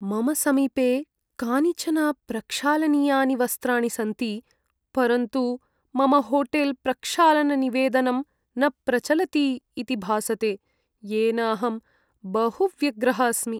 मम समीपे कानिचन प्रक्षालनीयानि वस्त्राणि सन्ति, परन्तु मम होटेल्प्रक्षालननिवेदनं न प्रचलति इति भासते, येन अहं बहु व्यग्रः अस्मि।